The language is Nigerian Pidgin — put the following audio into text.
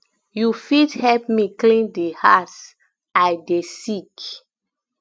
you fit help me clean di house i dey sick